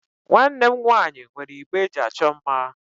Nwanne m nwaanyị nwere igbe eji achọ mma.